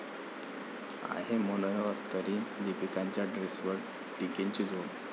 आहे मनोहर तरी...दीपिकाच्या ड्रेसवर टीकेची झोड